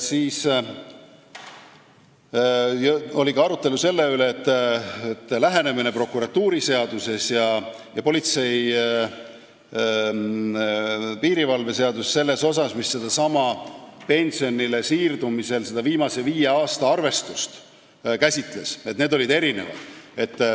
Oli ka arutelu selle üle, et prokuratuuriseaduse ning politsei ja piirivalve seaduse lähenemised sellele viie aasta arvestusele pensionile siirdumise korral on erinevad.